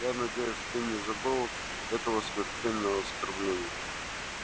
я надеюсь ты не забыл этого смертельного оскорбления